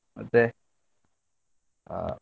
ಮತ್ತೆ ಆ?